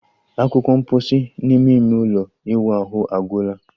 Akwukwo mposi n'ime ime ụlọ ịwụ ahụ agwụla